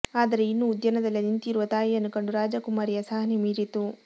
ಆದರೆ ಇನ್ನೂ ಉದ್ಯಾನದಲ್ಲಿ ನಿಂತಿರುವ ತಾಯಿಯನ್ನು ಕಂಡು ರಾಜಕುಮಾರಿಯ ಸಹನೆ ಮೀರಿತು